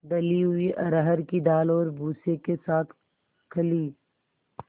दली हुई अरहर की दाल और भूसे के साथ खली